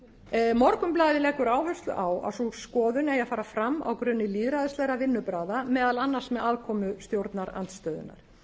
orkumálum morgunblaðið leggur áherslu á að sú skoðun eigi að fara fram á grunni lýðræðislegra vinnubragða meðal annars með aðkomu stjórnarandstöðunnar